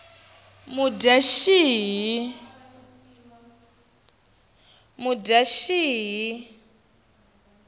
mudyaxihi